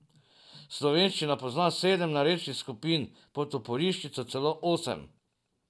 Slovenščina pozna sedem narečnih skupin, po Toporišiču celo osem.